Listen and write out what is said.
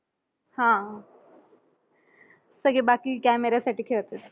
हा. सगळे बाकी camera साठी खेळतात.